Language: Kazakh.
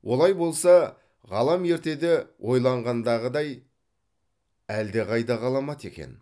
олай болса ғалам ертеде ойланғандағыдай әлдеқайда ғаламат екен